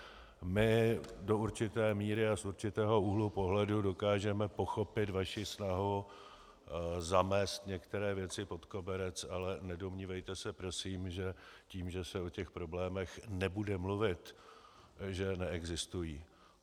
My do určité míry a z určitého úhlu pohledu dokážeme pochopit vaši snahu zamést některé věci pod koberec, ale nedomnívejte se prosím, že tím, že se o těch problémech nebude mluvit, že neexistují.